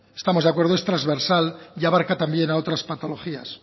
estamos de acuerdo es transversal y abarca también a otras patologías